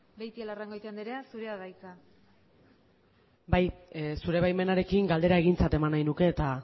beitialarrangoitia andrea zurea da hitza bai zure baimenarekin galdera egintzat eman nahi nuke eta